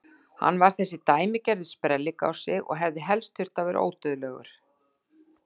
Hann var þessi dæmigerði sprelligosi og hefði helst þurft að vera ódauðlegur!